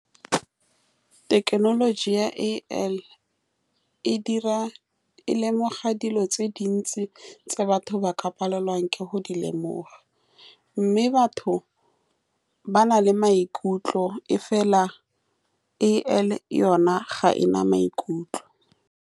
Thekenoloji ya A_I. E dira e lemoga dilo tse dintsi tse batho ba ka palelwang ke go di lemoga, mme batho ba na le maikutlo, mme fela A_I yone ga e na maikutlo.